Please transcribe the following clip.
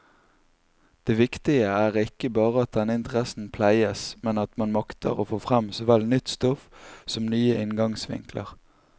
Det viktige er ikke bare at denne interessen pleies, men at man makter få frem såvel nytt stoff som nye inngangsvinkler.